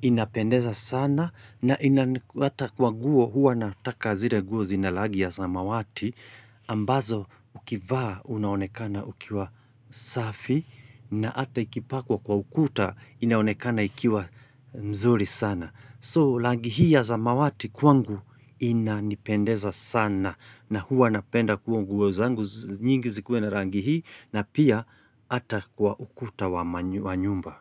inapendeza sana na inata hata kwa guo huwa nataka zire guo zinalagi ya samawati. Ambazo ukivaa unaonekana ukiwa safi na ata ikipakwa kwa ukuta inaonekana ikiwa mzuri sana. So rangi hii ya samawati kwangu inanipendeza sana na huwa napenda kwa nguo zangu nyingi zikuwa na rangi hii. Na pia ata kwa ukuta wa nyumba.